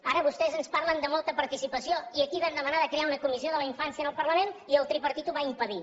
ara vostès ens parlen de molta participació i aquí vam demanar de crear una comissió de la infància en el parlament i el tripartit ho va impedir